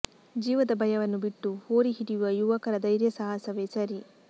ಜೀವದ ಭಯವನ್ನು ಬಿಟ್ಟು ಹೋರಿ ಹಿಡಿಯುವ ಯುವಕರ ಧೈರ್ಯ ಸಾಹಸವೇ ಸರಿ